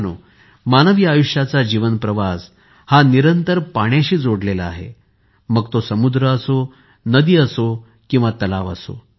मित्रांनो मानवी आयुष्याचा जीवन प्रवास हा निरंतर पाण्याशी जोडलेला आहे मग तो समुद्र असो नदी असो किंवा मग तलाव